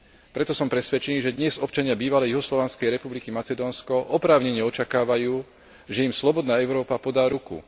Preto som presvedčený, že dnes občania Bývalej juhoslovanskej republiky Macedónsko oprávnene očakávajú, že im slobodná Európa podá ruku.